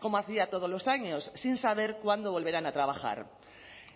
como hacía todos los años sin saber cuándo volverán a trabajar